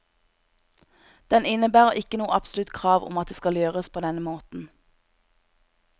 Den innebærer ikke noe absolutt krav om at det skal gjøres på denne måten.